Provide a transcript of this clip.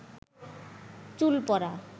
চুল পড়া